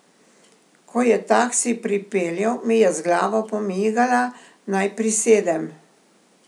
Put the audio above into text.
Ko je taksi pripeljal, mi je z glavo pomigala, naj prisedem.